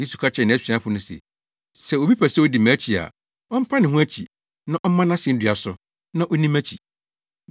Yesu ka kyerɛɛ nʼasuafo no se, “Sɛ obi pɛ sɛ odi mʼakyi a, ɔmpa ne ho akyi, na ɔmma nʼasennua so, na onni mʼakyi.